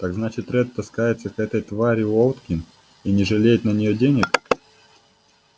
так значит ретт таскается к этой твари уотлинг и не жалеет на неё денег